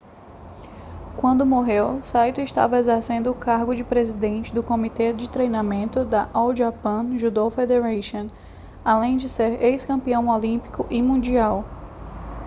quando morreu saito estava exercendo o cargo de presidente do comitê de treinamento da all japan judo federation além de ser ex-campeão olímpico e mundial